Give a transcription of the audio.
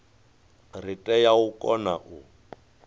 ri tea u kona u